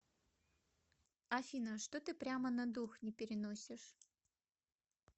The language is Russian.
афина что ты прямо на дух не переносишь